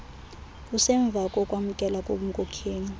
kusemva kokwamkelwa kobunkokheli